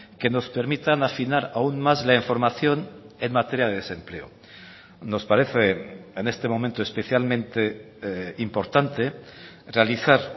que nos permitan afinar aún más la información en materia de desempleo nos parece en este momento especialmente importante realizar